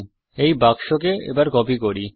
এই বাক্সকে কপি করি